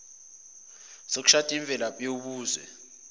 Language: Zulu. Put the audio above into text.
sokushada imvelaphi yobuzwe